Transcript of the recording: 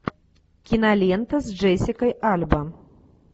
кинолента с джессикой альба